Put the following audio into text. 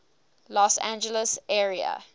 los angeles area